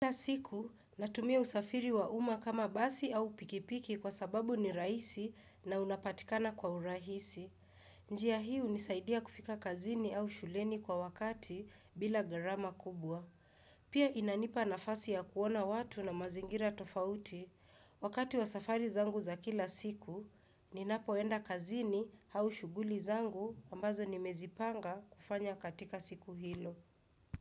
Kila siku, natumia usafiri wa umma kama basi au pikipiki kwa sababu ni rahisi na unapatikana kwa urahisi. Njia hii hunisaidia kufika kazini au shuleni kwa wakati bila gharama kubwa. Pia inanipa nafasi ya kuona watu na mazingira tofauti. Wakati wa safari zangu za kila siku, ninapoenda kazini au shughuli zangu ambazo nimezipanga kufanya katika siku hilo.